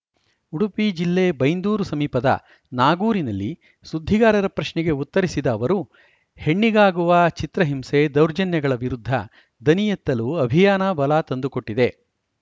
ಉಡುಪಿ ಜಿಲ್ಲೆ ಬೈಂದೂರು ಸಮೀಪದ ನಾಗೂರಿನಲ್ಲಿ ಸುದ್ದಿಗಾರರ ಪ್ರಶ್ನೆಗೆ ಉತ್ತರಿಸಿದ ಅವರು ಹೆಣ್ಣಿಗಾಗುವ ಚಿತ್ರಹಿಂಸೆ ದೌರ್ಜನ್ಯಗಳ ವಿರುದ್ಧ ದನಿಯೆತ್ತಲು ಅಭಿಯಾನ ಬಲ ತಂದುಕೊಟ್ಟಿದೆ